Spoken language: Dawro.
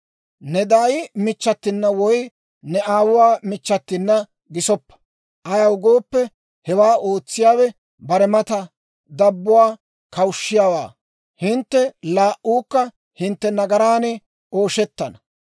« ‹Ne daay michchatina woy ne aawuwaa michchatina gisoppa; ayaw gooppe, hewaa ootsiyaawe bare mata dabbuwaa kawushshiyaawaa. Hintte laa"uukka hintte nagaran ooshettana.